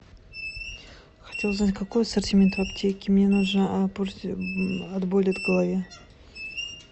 хочу узнать какой ассортимент в аптеке мне нужно от боли в голове